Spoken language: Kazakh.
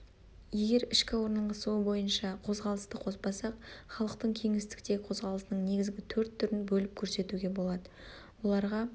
егер ішкі орналасуы бойынша қозғалысты қоспасақ халықтың кеңістіктегі қозғалысының негізгі төрт түрін бөліп көрсетуге болады оларға